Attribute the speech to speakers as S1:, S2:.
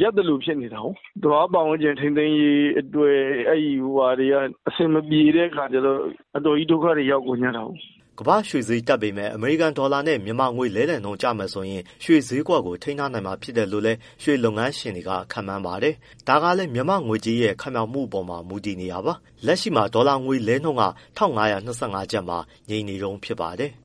S1: ရပ်သလိုဖြစ်နေတာကိုး သဘာဝပတ်ဝန်းကျင် ထိန်းသိမ်းရေးအတွက် အဆ
S2: င်မပြေတဲ့အခါကျတော့ အတော်ကြီးဒုက္ခတွေရောက်ကုန်ကြတာကိုး။” ကမ္ဘာ့ရွှေဈေးတက်ပေမဲ့ အမေရိကန်ဒေါ်လာနဲ့ မြန်မာငွေလဲလှယ်နှုန်းကျမယ်ဆိုရင် ရွှေဈေးကို ထိန်းထားနိုင်မှာလို့လည်း ရွှေလုပ်ငန်းရှင်တွေက ခန့်မှန်းပါတယ်။ ဒါကလည်း မြန်မာငွေကြေးရဲ့ ခိုင်မာမှုပေါ်လည်း မူတည်နေတာပါ။ လက်ရှိမှာဒေါ်လာငွေလဲနှုန်းက ၁၅၂၅ကျပ်မှာ ငြိမ်နေတုန်းပဲ ဖြစ်ပါတယ်။